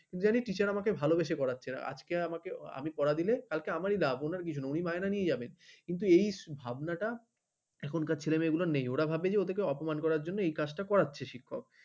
কিন্তু জানি teacher আমাকে ভালোবেসে পড়াচ্ছে আজকে আমাকে আমি পড়া দিলে কালকে আমারই লাভ ওনার কিছু না উনি মাইনে নিয়ে যাবেন কিন্তু এই ভাবনাটা এখনকার ছেলেমেয়েদের নেই। ওরা ভাবে ওদের কে অপমান করার জন্য এই কাজটা করাচ্ছে। শিক্ষক